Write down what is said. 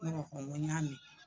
n ko n y'a mɛn.